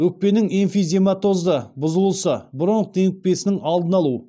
өкпенің эмфизематозды бұзылысы бронх демікпесінің алдын алу